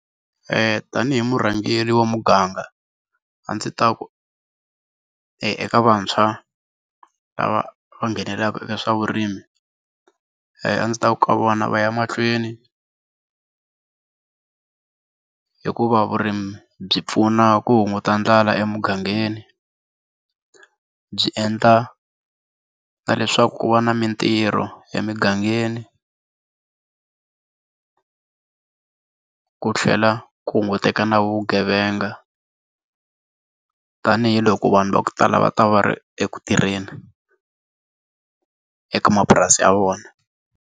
tanihi murhangeri wa muganga a ndzi ta ku eka vantshwa lava va nghenelelaka eka swa vurimi a ndzi ta ku ka vona va ya mahlweni hikuva vurimi byi pfuna ku hunguta ndlala emugangeni byi endla na leswaku ku va na mitirho emigangeni ku tlhela ku hunguteka na vugevenga tanihiloko vanhu va ku tala va ta va ri eku tirheni eka mapurasi ya vona.